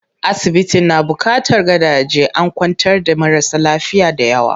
Asibitin na buƙatar gadaje, an kwantar da marasa lafiya dayawa.